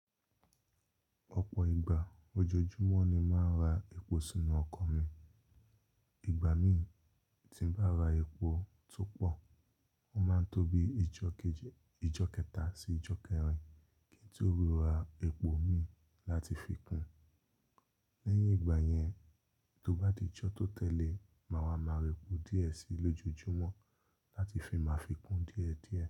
Ọ̀pọ̀ ìgbà ojoojúmọ́ ni máa ń ra epo sínú ọkọ̀ mi. Ìgbà mí tí n bá ra epo tó pọ̀, ó máa ń tóbi ijọ́ kẹta sí ijọ́ kẹrin kí n tó ríra epo mi láti fi kún. Lẹ́yìn ìgbà yẹn, tó bá di ijọ́ tó tẹ̀lé, màá wa ma ra epo díẹ̀ síi lójoojúmọ́ láti fi máa fi kún díẹ̀díẹ̀.